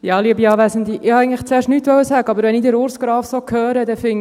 Ich wollte eigentlich zuerst nichts sagen, wenn ich aber Urs Graf so höre, dann finde ich: